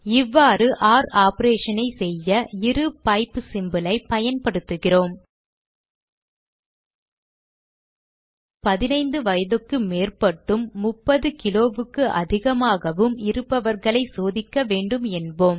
இவ்வாறு ஒர் operation ஐ செய்ய இரு பைப் symbol ஐ பயன்படுத்துகிறோம் 15 வயதுக்கு மேற்பட்டும் 30 கிலோவுக்கு அதிகமாகவும் இருப்பவர்களை சோதிக்க வேண்டும் என்போம்